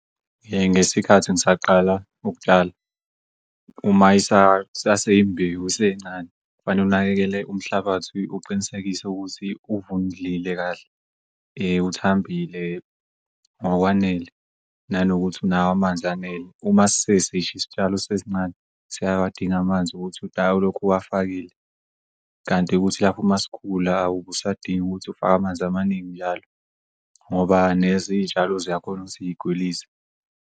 Ngesikhathi ngisaqala ukutshala uma isaseyimbewu isencane kufanele unakekele umhlabathi uqinisekise ukuthi uvundlile kahle, uthambile ngokwanele nanokuthi unawo amanzi anele. Uma sesish'isitshalo sesisincane siyawadinga amanzi ukuthi udayi ulokhu uwafakile kanti ukuthi lapho masikhula awubusadingi ukuthi ufake amanzi amaningi njalo ngoba nezitshalo ziyakhona ukuthi y'gwilize.